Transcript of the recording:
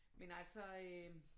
Men altså øh